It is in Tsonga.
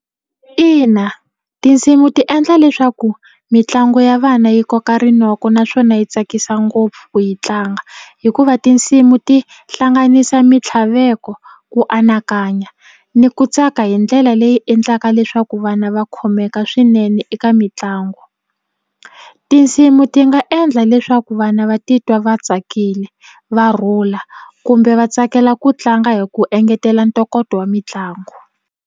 Ina tinsimu ti endla leswaku mitlangu ya vana yi koka rinoko naswona yi tsakisa ngopfu ku yi tlanga hikuva tinsimu ti hlanganisa mitlhaveko ku anakanya ni ku tsaka hi ndlela leyi yi endlaka leswaku vana va khomeka swinene eka mitlangu tinsimu ti nga endla leswaku vana va titwa va tsakile va rhula kumbe va tsakela ku tlanga hi ku engetela ntokoto wa mitlangu.